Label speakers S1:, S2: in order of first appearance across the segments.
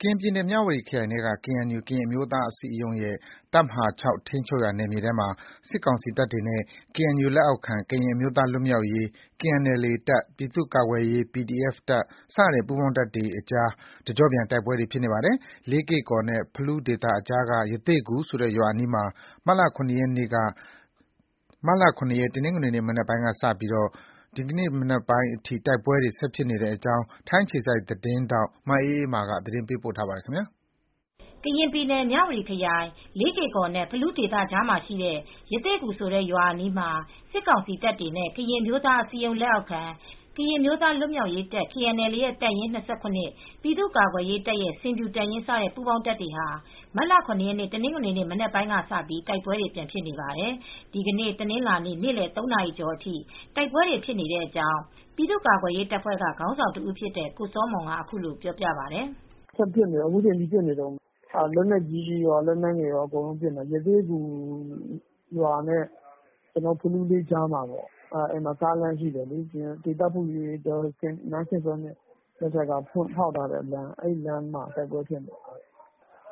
S1: ကရင်ပြည်နယ် မြဝတီခရိုင်ထဲက KNU ကရင်အမျိုးသားအစည်းအရုံးရဲ့ တပ်မဟာ ၆ ထိန်းချုပ်နယ်မြေထဲမှာ စစ်ကောင်စီတပ်တွေနဲ့ KNU လက်အောက်ခံ ကရင်အမျိုးသားလွတ်မြောက်ရေး KNLA တပ်၊ ပြည်သူ့ကာကွယ်ရေး PDF တပ် စတဲ့ပူးပေါင်းတပ်တွေကြား တကျော့ပြန် တိုက်ပွဲတွေ ဖြစ်နေပါတယ်။ လေးကေ့ကော်နဲ့ ဖလူးဒေသကြားက ရသေ့ဂူဆိုတဲ့ရွာအနီးမှာ မတ်လ (၇) ရက်နေ့ တနင်္ဂနွေ မနက်ပိုင်းကစပြီး ဒီနေ့ညနေပိုင်းအထိ တိုက်ပွဲတွေဖြစ်နေတဲ့အကြောင်း ထိုင်းအခြေစိုက် ဗွီအိုအေသတင်းထောက် မအေးအေးမာ သတင်းပေးပို့ထားပါတယ်။
S2: ကရင်ပြည်နယ် မြဝတီခရိုင် လေးကေ့ကော်နဲ့ ဖလူးဒေသကြားမှာရှိတဲ့ ရသေ့ဂူ ရွာအနီးမှာ စစ်ကောင်စီတပ်တွေနဲ့ ကရင်အမျိုးသားအစည်းအရုံး လက်အောက်ခံ ကရင်အမျိုးသားလွတ်မြောက်ရေးတပ် KNLA ရဲ့တပ်ရင်း (၂၇)၊ ပြည်သူ့ကာကွယ် ရေးတပ်ရဲ့ ဆင်ဖြူတပ်ရင်း စတဲ့ပူးပေါင်းတပ်တွေဟာ မတ်လ (၇) ရက် တနင်္ဂနွေနေ့ မနက်ပိုင်းကစပြီး တိုက်ပွဲတွေပြန်ဖြစ်နေပါတယ်။ ဒီနေ့ တနင်္လာနေ့ နေ့လယ် ၃ နာရီကျော်အထိ တိုက်ပွဲတွေဖြစ်နေတဲ့အကြောင်း ပြည်သူကာကွယ်ရေးတပ်ဖွဲ့က ခေါင်းဆောင်တဦးဖြစ်တဲ့ ကိုစောမွန်က အခုလိုပြောပြပါတယ်။ “ဆက်
S3: ဖြစ်နေတယ်။ အခုချိန်ထိပစ်နေတုန်းပါ။ လက်နက်ကြီးကော လက်နက်ငယ်တွေနဲ့ကောပစ်နေတာပါ။ ရသေ့ဂူရွာနားနဲ့ ဖလူးလေးကြားမှာ ကားလမ်းရှိနေတယ်။ ဒေသဖွံ့ဖြိုးရေးအတွက် နန်းခင်ထွေးမြင့်လက်ထက်က ဖောက်ထုတ်ထားတဲ့လမ်းမှာဖြစ်နေတာ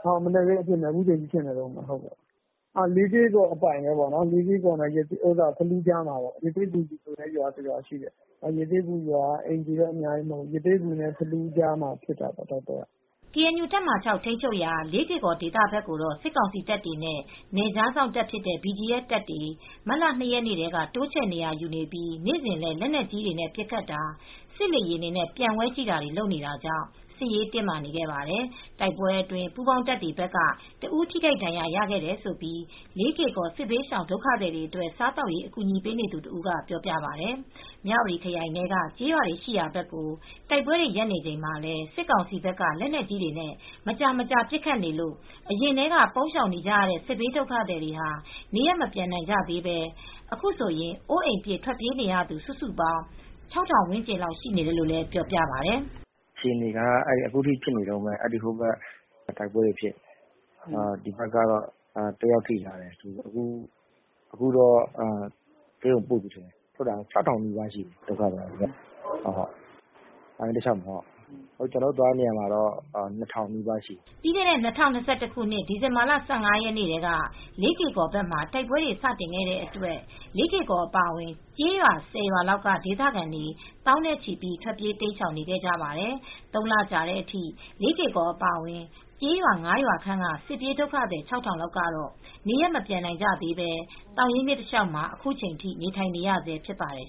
S3: ပါ။ မနက်ခင်းကနေ အခုထိဖြစ်နေတုန်းပါပဲ။ လေးကေ့ကော်အပိုင် ပေါ့ရသေ့ဂူဆိုတဲ့ရွာမှာပါ။ အဲဒီရွာက အိမ်ခြေတော့သိပ်မရှိဘူး။ ရသေ့ဂူနဲ့ ဖလူးကြားမှာ ဖြစ်တာပေါ့။”
S2: KNU တပ်မဟာ (၆) ထိန်းချုပ်ရာ လေးကေ့ကော်ဒေသဘက်ကို စစ်ကောင်စီတပ်တွေနဲ့ နယ်ခြားစောင့် BGF တပ်တွေ မတ်လ (၂) ရက်နေ့ထဲက တိုးချဲ့နေရာယူနေပြီး နေ့စဉ်လည်း လက်နက်ကြီးတွေနဲ့ ပစ်ခတ်တာ၊ စစ်လေယာဉ်တွေနဲ့ ပျံဝဲကြည့်တာတွေလုပ်နေတာကြောင့် စစ်ရေးတင်းမာနေခဲ့ပါတယ်။ တိုက်ပွဲအတွင်း ပူးပေါင်းတပ်တွေဘက်က ၁ ဦးထိခိုက်ဒဏ်ရာရခဲ့တယ်လို့ လေးကေ့ကော် စစ်ဘေးဒုက္ခသည်တွေအတွက် စားသောက်ရေး အကူညီပေးနေသူတဦးကပြောပါတယ်။ မြဝတီခရိုင်ထဲက ကျေးရွာတွေရှိရာဘက်ကို တိုက်ပွဲတွေ ရပ်နေချိန်မှာလည်း စစ်ကောင်စီဘက်က လက်နက်ကြီးတွေနဲ့ မကြာမကြာ ပစ်ခတ်နေလို့ အရင်ကတည်းက ပုန်း ရှောင်နေကြတဲ့ စစ်ဘေးဒုက္ခသည်တွေ နေရပ် မပြန်နိုင်ကြသေးဘဲ အခုဆို အိုးအိမ်ပြစ် ထွက်ပြေးနေရသူ စုစုပေါင်း ၆ ထောင်ဝန်းကျင်လောက်ရှိနေတယ်လို့ ပြောပါတယ်။
S1: “အခြေအနေကတော့ အခုထိပစ်ခတ်နေတုန်းပဲ။ ဒ
S3: ီဘက်ကတော့ တယောက်ထိသွားတယ်
S1: ။ အခုတော့ဆေးရုံပို့နေပြီ။ ဒုက္ခသည်ကတော့ ၆ ထောင်နီးပါးရှိတယ်။ သောင်ရင်းမြစ်တလျှောက်မှာ ကျနော်တို့ထောက်ပံ့ပေးနေတဲ့နေရာမှာတော့လူဦးရေ ၂,၀၀၀ နီးပါးထိရှိတယ်
S2: ။” ပြီးခဲ့တဲ့ ၂၀၂၁ ခုနှစ်ဒီဇင်ဘာလ ၁၅ ရက်နေ့ကတည်းက လေးကေ့ကော်ဘက်မှာ တိုက်ပွဲတွေ စတင်ခဲ့တဲ့အတွက် လေးကေ့ကော်အပါအဝင် ကျေးရွာ ၁၀ ရွာလောက်က ဒေသခံ သောင်းနဲ့ချီ ထွက်ပြေးတိမ်းရှောင်ခဲ့ကြပါတယ်။ ၃ လကြာတဲ့အထိ လေးကေ့ကော်အပါအဝင် ကျေးရွာ ၅ ရွာခန့်က စစ်ပြေးဒုက္ခသည် ၆ ထောင်လောက်ကတော့ နေရပ်ကိုမပြန်နိုင်ကြသေးပဲ သောင်ရင်းမြစ်တလျှောက်မှာ အခုချိန်ထိနေထိုင်နေရဆဲဖြစ်ပါတယ်